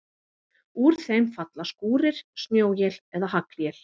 Úr þeim falla skúrir, snjóél eða haglél.